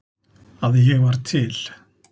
að ég var til.